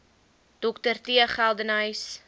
dr t geldenhuys